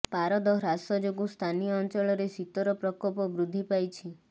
ପାରଦ ହ୍ରାସ େଯାଗୁଁ ସ୍ଥାନୀୟ ଅଞ୍ଚଳରେ ଶୀତର ପ୍ରକୋପ ବୃଦ୍ଧି ପାଇଛି